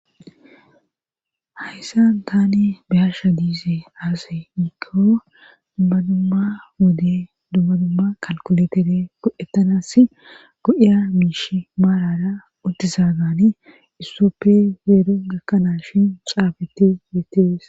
Hayssan tani biyasha diize aase yiko dumma dumma wode dumma dumma kalkuletere go7ettanas go7ya miishi maarara uttisa gani issoppe yeero gakkanaas shin xaabetti yeetees.